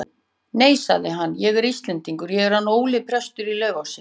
Nei, sagði hann,-ég er Íslendingur, ég er hann Óli prestur í Laufási.